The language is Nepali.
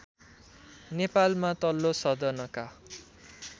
नेपालमा तल्लो सदनका